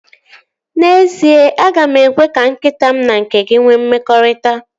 N'ezie, aga m ekwe ka nkịta m na nke gị nwee mmekọrịta